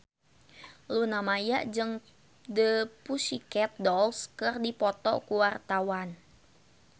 Luna Maya jeung The Pussycat Dolls keur dipoto ku wartawan